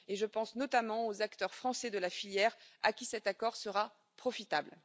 Je pense notamment aux acteurs français de la filière, à qui cet accord sera profitable.